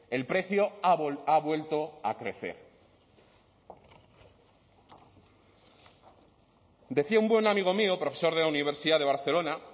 el precio ha vuelto a crecer decía un buen amigo mío profesor de la universidad de barcelona